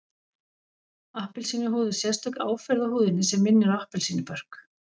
Appelsínuhúð er sérstök áferð á húðinni sem minnir á appelsínubörk